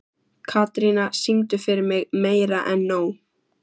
Katrína, syngdu fyrir mig „Meira En Nóg“.